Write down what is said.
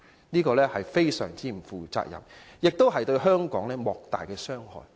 這是極不負責任，更對香港造成莫大的傷害。